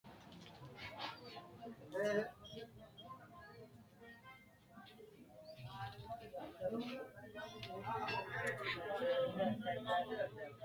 tini maa xawissanno misileeti ? mulese noori maati ? hiissinannite ise ? tini kultannori mattiya? Manoottu kuri ma assanni noo? Badheenni hige noori maatti?